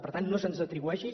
per tant no se’ns atribueixi